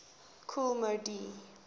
kool moe dee